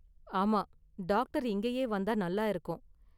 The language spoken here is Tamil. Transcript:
ஆமா, டாக்டர் இங்கயே வந்தா நல்லா இருக்கும்.